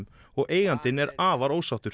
og eigandinn er afar ósáttur